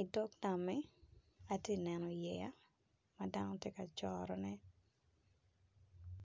i dog nammi ti neno yeya ma dano ti ka corone.